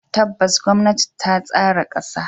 Tabbas, gwamnati ta tsara kasa.